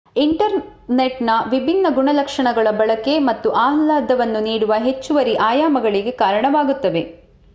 ಇಂಟರ್ನೆಟ್‌ನ ವಿಭಿನ್ನ ಗುಣಲಕ್ಷಣಗಳ ಬಳಕೆ ಮತ್ತು ಆಹ್ಲಾದವನ್ನು ನೀಡುವ ಹೆಚ್ಚುವರಿ ಆಯಾಮಗಳಿಗೆ ಕಾರಣವಾಗುತ್ತವೆ